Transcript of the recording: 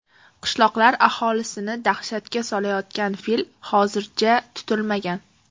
Qishloqlar aholisini dahshatga solayotgan fil hozircha tutilmagan.